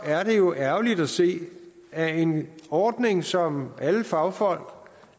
er det jo ærgerligt at se at en ordning som alle fagfolk